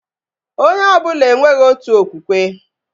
Onye ọbụla enweghị otu okwukwe